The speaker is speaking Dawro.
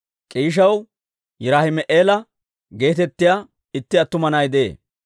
K'iishaw Yiraahima'eela geetettiyaa itti attuma na'ay de'ee.